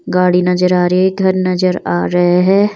गाड़ी नजर आ रहे घर नजर आ रहे है।